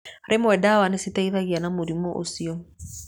Rĩmwe ndawa nĩ citeithagĩrĩria na mũrimũ ũcio.